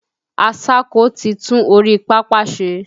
Aṣáko ti tún orí pápá ṣe.